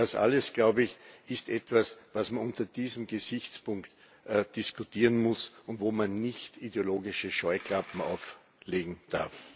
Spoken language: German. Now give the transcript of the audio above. Und das alles, glaube ich, ist etwas, was man unter diesem Gesichtspunkt diskutieren muss und wo man nicht ideologische Scheuklappen auflegen darf.